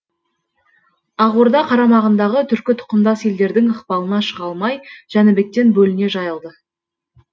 ақ орда қарамағындағы түркі тұқымдас елдердің ықпалына шыға алмай жәнібектен бөліне жайылды